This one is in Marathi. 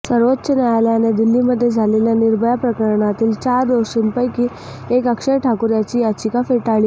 सर्वोच्च न्यायालयाने दिल्लीमध्ये झालेल्या निर्भया प्रकरणातील चार दोषींपैकी एक अक्षय ठाकूर याची याचिका फेटाळली आहे